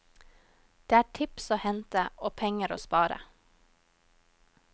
Det er tips å hente, og penger å spare.